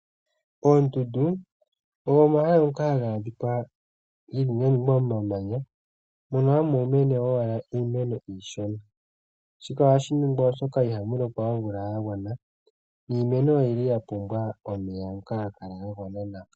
Oondundu ogo omahala ngoka haga adhika meni momamanya mono hamu mene owala iimeno iishona. Shika ohashi ningwa oshoka ihamu lokwa omvula ya gwana niimeno oya pumbwa omeya ngoka haga kala ga gwana nawa.